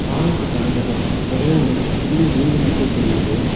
பாலத்துக்கு அந்த பக்கோ ஒரே ஒரு சின்ன வீடு மட்டு தெரியிது.